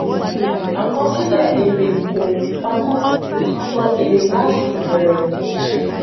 àkọsílẹ èrè kò pamọ sọ èrè láti ìbẹrẹ